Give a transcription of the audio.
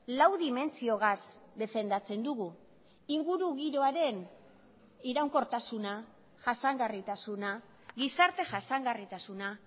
lau dimentsiogaz defendatzen dugu ingurugiroaren iraunkortasuna jasangarritasuna gizarte jasangarritasuna